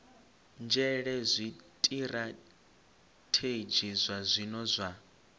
nzhele zwitirathedzhi zwa zwino zwa